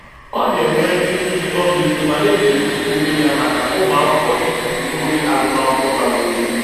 Ọ na-enwere ndị nkụzi ọmịiko ma na-echegbu onwe ya maka ụmụakwụkwọ ịtụfụ oge agụmakwụkwọ bara uru.